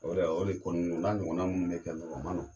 O de o de kɔnni don o n'a ɲɔgɔnna minnu bɛ kɛ o ma nɔgɔn.